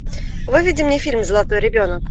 выведи мне фильм золотой ребенок